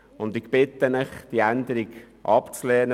Ich bitte Sie, die beantragte Änderung abzulehnen.